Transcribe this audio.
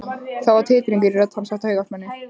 Það var titringur í rödd hans af taugaspennu.